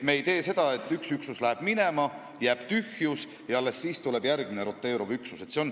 Me ei tee nii, et üks üksus läheb minema, jääb tühjus ja alles siis tuleb järgmine roteeruv üksus.